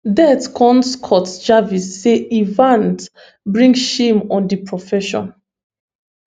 det con scott jarvis say evans bring shame on di profession